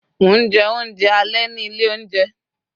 mo nje ounje ale ni Ile ounje